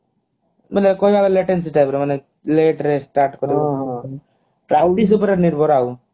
ମାନେ କହିବାକୁ ଗଲେ type ର ମାନେ late ରେ start କଲେ ଉପରେ ନିର୍ଭର ଆଉ